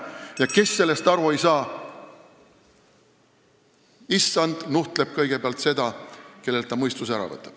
Ja kes sellest aru ei saa – issand nuhtleb kõigepealt seda, kellelt ta mõistuse ära võtab.